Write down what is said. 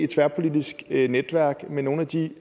tværpolitisk netværk med nogle af de